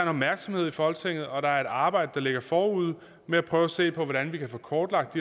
opmærksomhed i folketinget og der er et arbejde der ligger forude med at prøve at se på hvordan vi kan få kortlagt